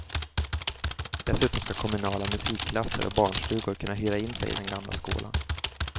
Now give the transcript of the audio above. Dessutom ska kommunala musikklasser och barnstugor kunna hyra in sig i den gamla skolan.